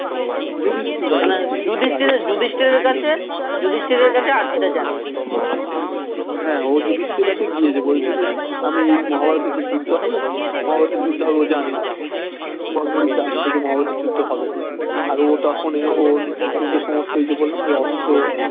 হ্যাঁ ও যুধিষ্ঠিরের কাছে গিয়েছে বলছে যে আমি এই মহাভারতের যে যুদ্ধ হবে মহাভারতের যুদ্ধ হবে ও জানে বড়বড়ি জানতো যে মহাভারতের যুদ্ধ হবে ও তখন ওর কিন্তু সমস্ত ওই যে বললাম যে অস্ত্র